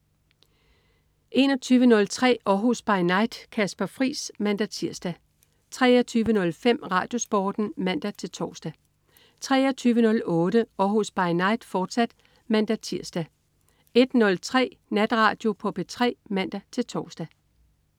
21.03 Århus By Night. Kasper Friis (man-tirs) 23.05 RadioSporten (man-tors) 23.08 Århus By Night, fortsat (man-tirs) 01.03 Natradio på P3 (man-tors)